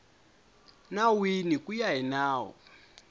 nawini ku ya hi nawu